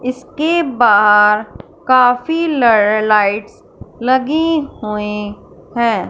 इसके बाहर काफी ला लाइट्स लगी हुई हैं।